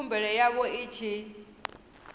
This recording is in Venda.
musi khumbelo yavho i tshi